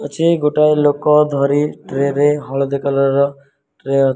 ଗୋଟାଏ ଲୋକ ଧରି ଟ୍ରେରେ ହଳଦୀ କଲର୍ ର ଟ୍ରେ --